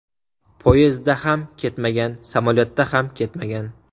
Poyezdda ham ketmagan, samolyotda ham ketmagan.